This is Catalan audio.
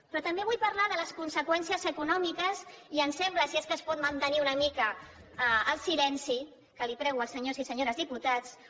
però també vull parlar de les conseqüències econòmiques i em sembla si és que es pot mantenir una mica el silenci que els prego als senyors i senyores diputats